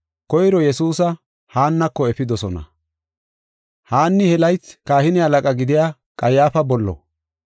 Koyro Yesuusa Haannako efidosona. Haanni he laythi kahine halaqa gidiya Qayyaafa bollo.